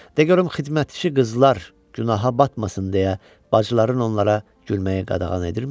De görüm xidmətçi qızlar günaha batmasın deyə bacıların onlara gülməyi qadağan edirmi?